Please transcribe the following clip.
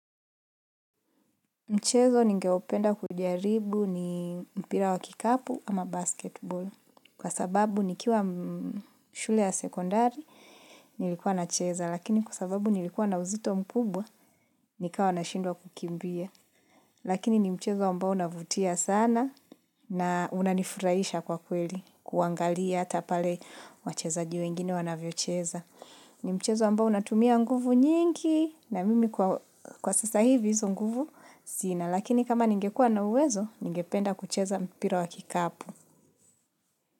Mchezo nigeopenda kujaribu ni mpira wa kikapu ama basketball. Kwa sababu nikiwa shule ya sekondari, nilikuwa na cheza. Lakini kwa sababu nilikuwa na uzito mkubwa, nikawa nashindwa kukimbia. Lakini ni mchezo ambao unavutia sana na unanifuraisha kwa kweli. Kuangalia ata pale wachezaji wengine wanavyocheza. Ni mchezo ambao unatumia nguvu nyingi na mimi kwa sasa hivi hizo nguvu sina. Na lakini kama ningekua na uwezo, ningependa kucheza mpira wa kikapu.